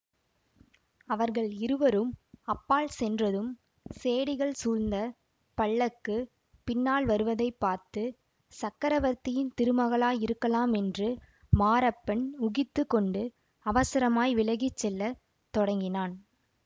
அவர்கள் இருவரும் அப்பால் சென்றதும் சேடிகள் சூழ்ந்த பல்லக்கு பின்னால் வருவதை பார்த்து சக்கரவர்த்தியின் திருமகளாயிருக்கலாம் என்று மாரப்பன் ஊகித்து கொண்டு அவசரமாய் விலகி செல்ல தொடங்கினான்